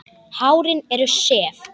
Hárin eru sef.